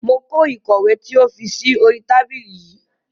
Mo kó ìkọ̀wé tí o fi sí oríi tábìlì yii